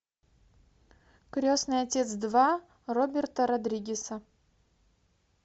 крестный отец два роберта родригеса